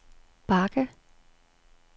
bakke